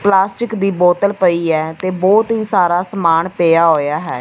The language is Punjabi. ਪਲਾਸਟਿਕ ਦੀ ਬੋਤਲ ਪਈ ਹੈ ਤੇ ਬਹੁਤ ਹੀ ਸਾਰਾ ਸਮਾਨ ਪਿਆ ਹੋਇਆ ਹੈ।